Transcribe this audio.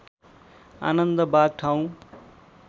आनन्दबाघ ठाउँ